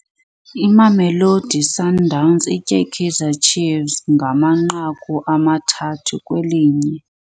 Imamelodi Sundowns itye iKaizer Chiefs ngamanqaku amathathu kwelinye.